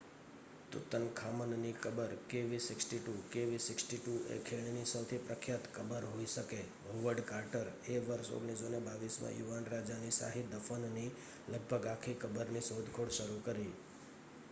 Tutankhamun ની કબર kv 62. kv 62 એ ખીણ ની સૌથી પ્રખ્યાત કબર હોઈ શકે હોવર્ડ કાર્ટર એ વર્ષ 1922 માં યુવાન રાજા ની શાહી દફન ની લગભગ આખી કબરની શોધખોળ શરુ કરી